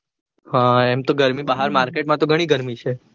હા એમ તો ગરમી બહાર market માં તો ઘણી ગરમી છે